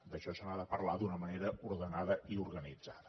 d’això se n’ha de parlar d’una manera ordenada i organitzada